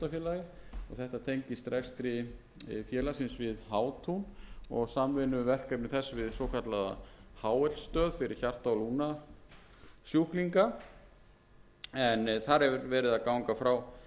þetta tengist rekstri félagsins við hátún og samvinnuverkefni þess við svokallaða hl stöð fyrir hjarta og lungnasjúklinga en þar er verið að ganga frá stækkun á húsnæðinu sal